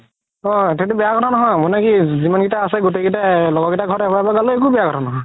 অ তেন্তে বেয়া কথা নহয় মানে কি যিমান কেইটা আছে গুতেই কেইটা লগৰ ঘৰত এবাৰ এবাৰ গালো একো বেয়া কথা নহয়